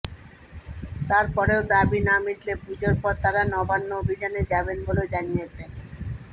তার পরেও দাবি না মিটলে পুজোর পর তাঁরা নবান্ন অভিযানে যাবেন বলেও জানিয়েছেন